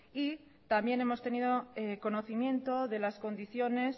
y también hemos tenido conocimiento de las condiciones